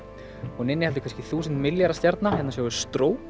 hún inniheldur kannski þúsund milljarða stjarna hérna sjáum við